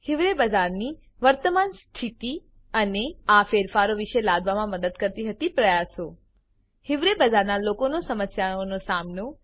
હિવરે બજાર નીવર્તમાન સ્થિતિ અને 3આ ફેરફારો વિશે લાવવા મદદ કરી હતી પ્રયાસો હિવરે બજારના લોકોનો સમસ્યાઓ નો સામનો